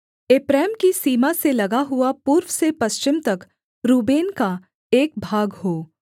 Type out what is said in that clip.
एप्रैम की सीमा से लगा हुआ पूर्व से पश्चिम तक रूबेन का एक भाग हो